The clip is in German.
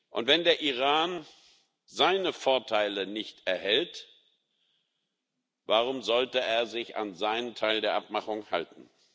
Und wenn der Iran seine Vorteile nicht erhält, warum sollte er sich an seinen Teil der Abmachung halten?